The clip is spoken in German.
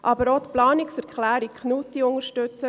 Wir unterstützen aber auch die Planungserklärung Knutti.